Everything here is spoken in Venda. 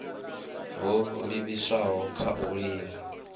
ho livhiswaho kha u linga